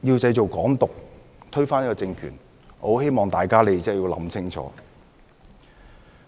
如要製造"港獨"並推翻政權，我希望大家想清楚。